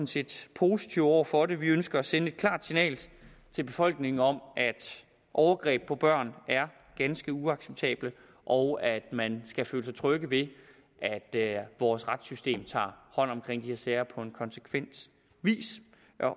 set positive over for det vi ønsker at sende et klart signal til befolkningen om at overgreb på børn er ganske uacceptabelt og at man skal føle sig tryg ved at vores retssystem tager hånd om de her sager på en konsekvent vis